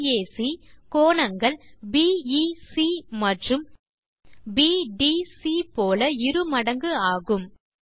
கோணம் பாக் கோணங்கள் பிஇசி மற்றும் பிடிசி போல இரு மடங்கு ஆகும்